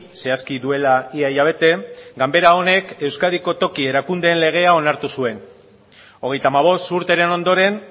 zehazki duela ia hilabete ganbera honek euskadiko toki erakundeen legea onartu zuen hogeita hamabost urteren ondoren